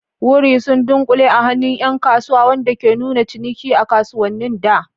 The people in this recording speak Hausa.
Wurri sun dunkule a hannun 'yan kasuwa, wanda ke nuna ciniki a kasuwannin da.